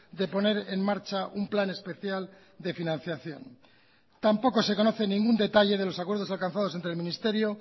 de poner en marcha un plan especial de financiación tampoco se conoce ningún detalle de los acuerdos alcanzados entre el ministerio